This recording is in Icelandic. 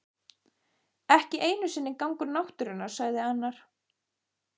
Ekki einu sinni gangur náttúrunnar sagði annar.